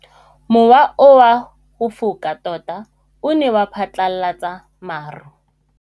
Mowa o wa go foka tota o ne wa phatlalatsa maru.